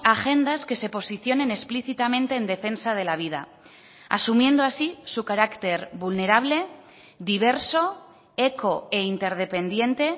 agendas que se posicionen explícitamente en defensa de la vida asumiendo así su carácter vulnerable diverso eco e interdependiente